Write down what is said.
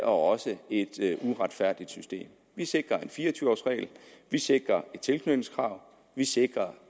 også et uretfærdigt system vi sikrer en fire og tyve års regel vi sikrer et tilknytningskrav vi sikrer